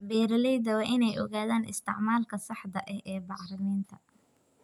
Beeralayda waa in ay ogaadaan isticmaalka saxda ah ee bacriminta.